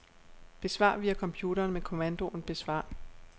Besvar via computeren med kommandoen besvar.